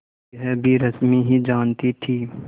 यह भी रश्मि ही जानती थी